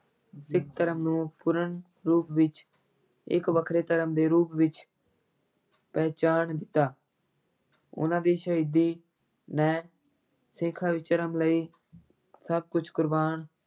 ਸਿੱਖ ਧਰਮ ਨੂੰ ਪੂਰਨ ਰੂਪ ਵਿੱਚ ਇੱਕ ਵੱਖਰੇ ਧਰਮ ਦੇ ਰੂਪ ਵਿੱਚ ਪਹਿਚਾਨ ਦਿੱਤਾ ਉਹਨਾਂ ਦੀ ਸ਼ਹੀਦੀ ਨੇ ਸਿੱਖਾਂ ਵਿੱਚ ਧਰਮ ਲਈ ਸਭ ਕੁਝ ਕੁਰਬਾਨ